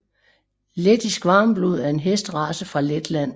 Lettisk Varmblod er en hesterace fra Letland